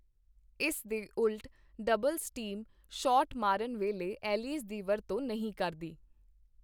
ਇਸ ਦੇ ਉਲਟ, ਡਬਲਜ਼ ਟੀਮ ਸ਼ਾਟ ਮਾਰਨ ਵੇਲੇ ਐਲੀਜ਼ ਦੀ ਵਰਤੋਂ ਨਹੀਂ ਕਰਦੀ।